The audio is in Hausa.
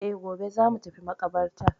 E, gobe za mu tafi maƙabartar.